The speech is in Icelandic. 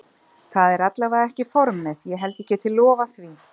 Það er allavega ekki formið ég held ég geti lofað því.